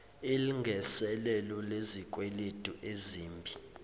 ilngiselelo lezikweleti ezimbi